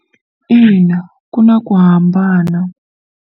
Ina, ku na ku hambana.